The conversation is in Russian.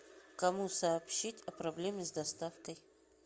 кому сообщить о проблеме с доставкой